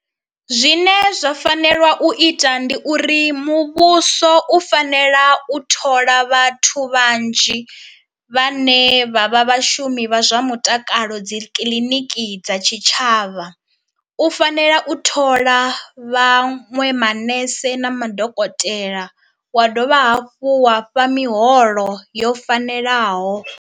Zwine zwa fanela u ita ndi uri muvhuso u fanela u thola vhathu vhanzhi vhane vha vha vhashumi vha zwa mutakalo dzi kiḽiniki dza tshitshavha, u fanela u thola vhaṅwe manese na madokotela, wa dovha hafhu wa fha miholo yo fanelaho.